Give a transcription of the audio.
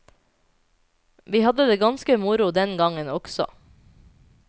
Vi hadde det ganske moro den gangen, også.